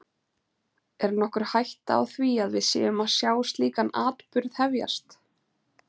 Er nokkur hætta á því að við séum að sjá slíkan atburð hefjast?